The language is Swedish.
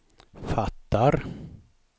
fattar